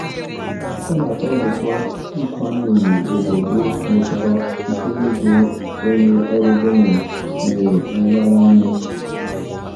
Ọ na-atọ m ụtọ nkwanye ùgwù obodo nwetara site n'ịbụ onye ọrụ gọọmentị nwere nraranye.